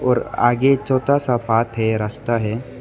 और आगे छोता सा पाथ है रास्ता है।